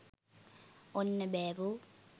ඔන්න බෑවෝ.